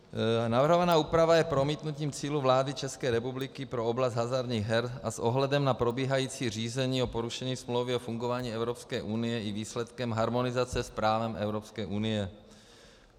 Navrhovaná úprava je promítnutím cílů vlády České republiky pro oblast hazardních her a s ohledem na probíhající řízení o porušení Smlouvy o fungování Evropské unie i výsledkem harmonizace s právem Evropské unie.